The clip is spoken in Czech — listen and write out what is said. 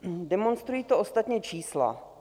Demonstrují to ostatně čísla.